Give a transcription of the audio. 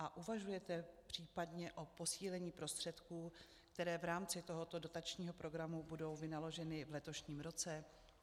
A uvažujete případně o posílení prostředků, které v rámci tohoto dotačního programu budou vynaloženy v letošním roce?